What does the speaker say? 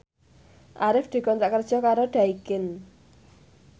Arif dikontrak kerja karo Daikin